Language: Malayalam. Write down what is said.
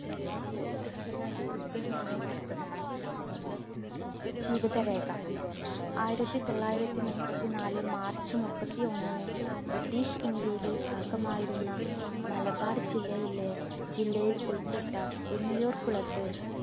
ജീവിത രേഖ, ആയിരത്തിത്തൊള്ളായിരത്തി മുപ്പത്തിനാല് march മുപ്പത്തി ഒന്നിന് british ഇന്ത്യയിലെ ഭാഗമായിരുന്ന മലബാർ ജില്ലയിലെ, ജില്ലയിൽ ഉൾപ്പെട്ട പുന്നിയൂർകുളത്ത്‌